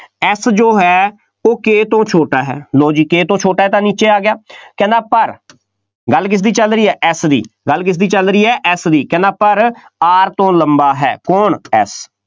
F ਜੋ ਹੈ ਉਹ K ਤੋਂ ਛੋਟਾ ਹੈ, ਲਓ ਜੀ K ਤੋਂ ਛੋਟਾ ਤਾਂ ਨੀਚੇ ਆ ਗਿਆ, ਕਹਿੰਦਾ ਪਰ ਗੱਲ ਕਿਸਦੀ ਚੱਲ ਰਹੀ ਹੈ F ਦੀ, ਗੱਲ ਕਿਸਦੀ ਚੱਲ ਰਹੀ ਹੈ F ਦੀ, ਪਰ R ਤੋਂ ਲੰਬਾ ਹੈ, ਕੌਣ F